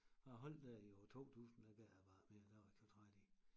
Jeg holdt der i år 2000 der gad jeg bare ikke mere der var jeg alt for træt i